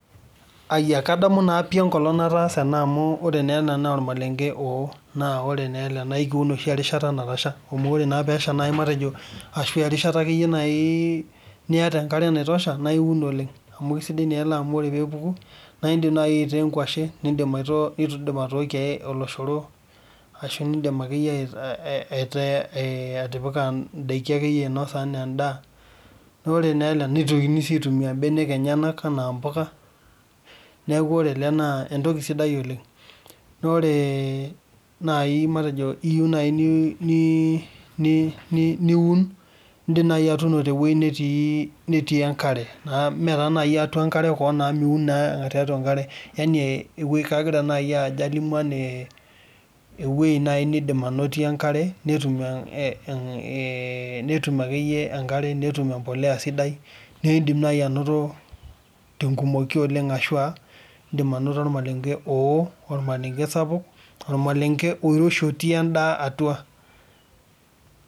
Ayia, kaamu naa pi enkolong nataasa ena amuore naa ena naa ormalenke oo, naa ekiun oshi enkata natasha, amu ore naa pesha nai matejo ashu erishata nai niata enkare naitosha naa iun oleng , amuisiai naa ele amu ore pee epuku naa indim nai aitaa enkwashe , nindim atoorie olosho ashu nindim akeyie atipika akeyie indaiki ainosa anaa endaa , naa ore naa ele nitokini naa aitumia mbenek enye anaa mpuka , niaku ore ele naa entoki sidai oleng. Naa ore nai matejo iyieu nai niun , indim nai atuuno tewuei netii enkare . Mme taa atua enkare kewon amu miun naa tiatua enkare yani ewuei kagira nai aja alimu anaa ewuei naa nindim anotie enkare , netum akeyie enkare, netum embolea sidai naa indim nai anoto tenkumoki oleng ashuaa indim anoto ormalenke oo, ormalenke sapuk, ormalenke oiroshi otii endaa atua.